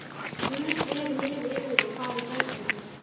Guð veri með yður og farið gætilega.